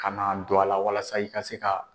Ka na don a la walasa i ka se ka